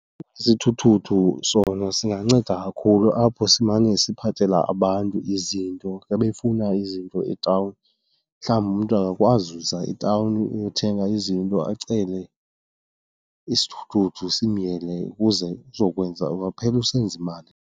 Isithuthuthu sona singanceda kakhulu apho simane siphathela abantu izinto xa befuna izinto etawuni. Mhlawumbi umntu akakwazi kuza etawuni uyothenga izinto acele isithuthuthu simyele ukuze uzokwenza, ungaphela usenza imali.